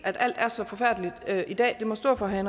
alt er så forfærdeligt i dag må stå for herre